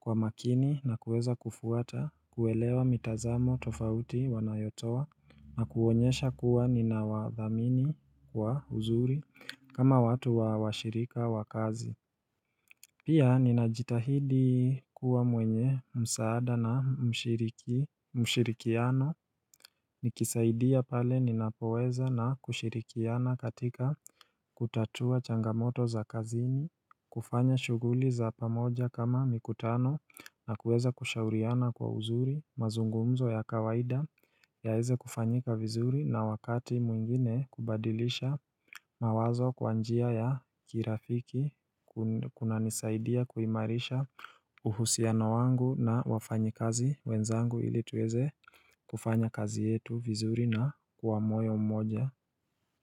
kwa makini na kuweza kufuata kuelewa mitazamo tofauti wanayotoa na kuonyesha kuwa ninawadhamini kwa uzuri kama watu wa washirika wa kazi Ninajitahidi kuwa mwenye msaada na mshirikiano Nikisaidia pale ninapoweza na kushirikiana katika kutatua changamoto za kazini kufanya shughuli za pamoja kama mikutano na kueza kushauriana kwa uzuri mazungumzo ya kawaida yaeze kufanyika vizuri na wakati mwingine kubadilisha mawazo kwa njia ya kirafiki kunanisaidia kuimarisha uhusiano wangu na wafanyi kazi wenzangu ili tuweze kufanya kazi yetu vizuri na kwa moyo mmoja.